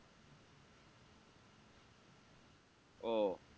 ও